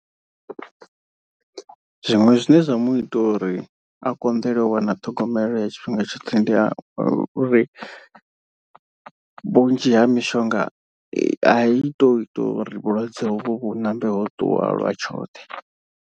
Zwiṅwe zwine zwa mu ita uri a konḓelwe u wana ṱhogomelo ya tshifhinga tshoṱhe. Ndi ya uri vhunzhi ha mishonga a i to ita uri vhulwadze hovho vhu ṋambe ho ṱuwa lwa tshoṱhe.